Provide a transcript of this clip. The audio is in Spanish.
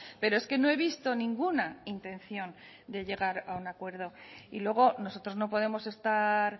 pero es que no he visto ninguna intención de llegar a un acuerdo y luego nosotros no podemos estar